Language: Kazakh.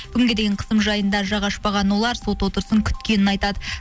бүгінге дейін қысым жайында жақ ашпаған олар сот отырысын күткенін айтады